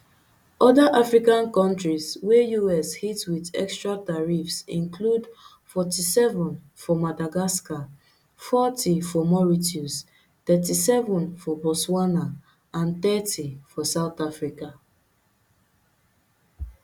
oda african kontris wey us hit wit extra tariffs include forty-seven for madagascar forty for mauritius thirty-seven for botswana and thirty for south africa